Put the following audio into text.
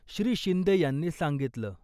श्री शिंदे यांनी सांगितलं.